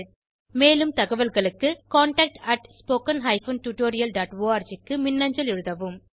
மேலும் தகவல்களுக்கு contactspoken tutorialorg க்கு மின்னஞ்சல் எழுதவும்